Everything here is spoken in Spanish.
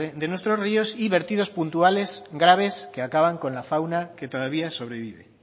de nuestros ríos y vertidos puntuales graves que acaban con la fauna que todavía sobrevive